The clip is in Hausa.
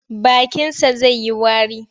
Bakinsa zai yi wari.